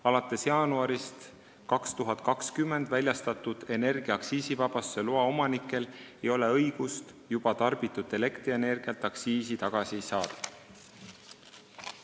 Alates jaanuarist 2020 väljastatud energia aktsiisivabastuse loa omanikel ei ole õigust juba tarbitud elektrienergialt aktsiisi tagasi saada.